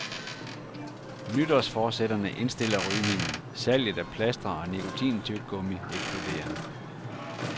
Nytårsforsætterne indstiller rygningen, salget af plastre og nikotintyggegummi eksploderer.